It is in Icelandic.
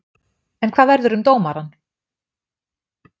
En hvað verður um dómarinn?